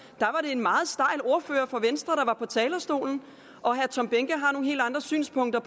en meget stejl ordfører fra venstre der var på talerstolen og herre tom behnke har nogle helt andre synspunkter